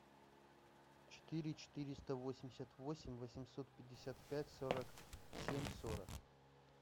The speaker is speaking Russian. четыре четыреста восемьдесят восемь восемьсот пятьдесят пять сорок семь сорок